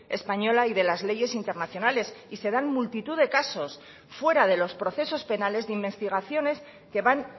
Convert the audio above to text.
española y de las leyes internacionales y se dan multitud de casos fuera de los procesos penales de investigaciones que van